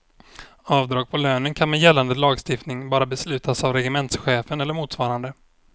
Avdrag på lönen kan med gällande lagstiftning bara beslutas av regementschefen eller motsvarande.